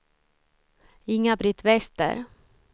Inga-Britt Wester